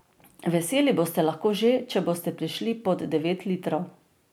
Veseli boste lahko že, če boste prišli pod devet litrov.